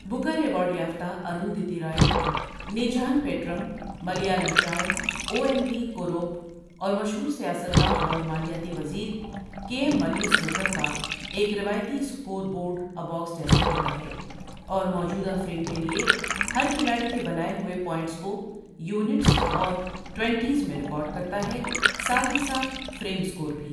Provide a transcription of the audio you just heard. Booker award یافتہ اروندھتی رائے، نیجھان پیڑم ملیالم شاعر اواین وی کوروپ اور مشہور سیاستدان اور مالیاتی وزیر کے ایم منی سنوکر کا ایک روایتی اسکور بورڈ اباکس جیسا ہوتا ہے اور موجودہ فریم کے لیے ہر کھلاڑی کے بنائے ہوئے پوائنٹس کو یونٹس اور ٹوئنٹیز میں ریکارڈ کرتا ہے، ساتھ ہی ساتھ فریم سکور بھی۔